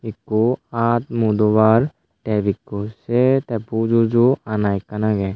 ekko aat mu dobar te ebakko ae te pujuju ana ekkan agey.